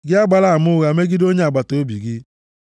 Gị agbala ama ụgha megide onye agbataobi gị.